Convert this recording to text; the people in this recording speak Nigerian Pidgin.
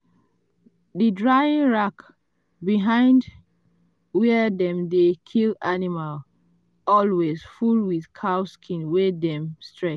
the drying rack behind where dem dey kill animal always full with cow skin wey dem stretch.